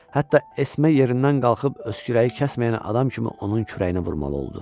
Hətta Esme yerindən qalxıb öskürəyi kəsməyən adam kimi onun kürəyinə vurmalı oldu.